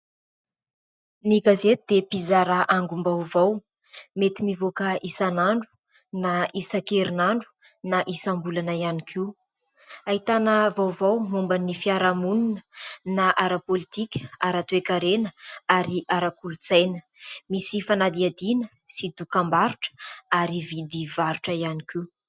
Ny gazety dia mpizara angom-baovao ; mety mivoaka isan'andro na isakerin'andro na isam-bolana ihany koa. Ahitana vaovao momba ny fiaraha-monina, na ara-politika, ara-toekarena ary arak'olotsaina. Misy fanadihadiana sy dokam-barotra ary vidy varotra ihany koa.